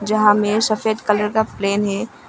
जहां में सफेद कलर का प्लेन है।